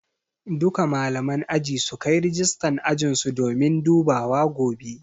Duka malaman aji sukai rijistan ajinsu domin dubawa gobe